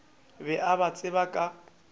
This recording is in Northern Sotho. be a ba tseba ka